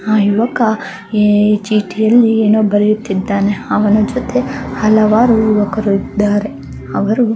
ಆ ಯುವಕ ಏ ಚೀಟಿಯಲ್ಲಿ ಏನೋ ಬರೆಯುತ್ತಿದ್ದಾನೆ ಅವನ ಜೊತೆ ಹಲವಾರು ಯುವಕರು ಇದ್ದಾರೆ. ಅವರು--